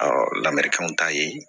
lamerikanw t'a ye